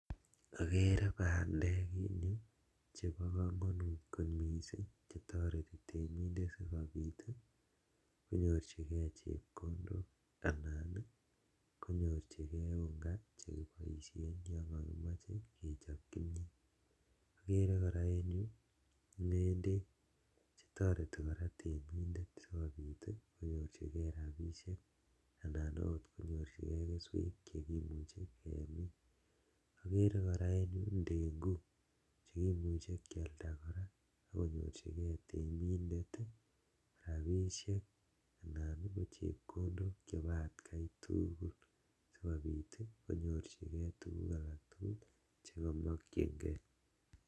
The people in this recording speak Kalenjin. Okeree bandek chebokomonut kot mising chetoreti temindet sikobit konyorchikee chepkondok anan i konyorchikee unga chekiboishen yon kimoche kechob kimnyet, okeree kora en yuu ng'endek chetoreti kora temindet sikobit konyorchikee rabishek anan akot konyorchikee kesweek cheimuche kemiin, okeree kora en yuu ndenguk cheimuche kialda kora sikonyorchikee temindet rabishek anan chepkondok chebo atkai tukul sikobit konyorchikee tukuk alak tukul chekomokying'e.